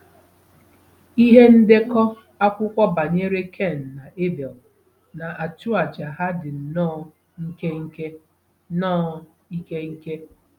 Ihe ndekọ akwụkwọ banyere Ken na Ebel na-achụ àjà ha dị nnọọ nkenke. nnọọ nkenke.